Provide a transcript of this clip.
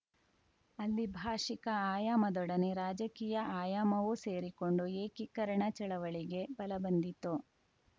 ಅಲ್ಲಿ ಭಾಷಿಕ ಆಯಾಮದೊಡನೆ ರಾಜಕೀಯ ಅಯಾಮವೂ ಸೇರಿಕೊಂಡು ಏಕೀಕರಣ ಚಳವಳಿಗೆ ಬಲ ಬಂದಿತು